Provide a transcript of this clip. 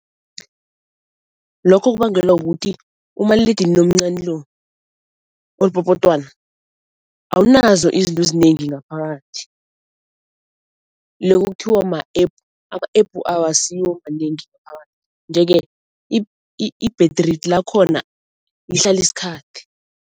Lokho kubangelwa kukuthi umaliledinini omncani lo olipopotwana awunazo izinto ezinengi ngaphakathi loku okuthiwa ma-App. Ama-App awasiwo manengi ngaphakathi nje-ke i-battery lakhona lihlala isikhathi.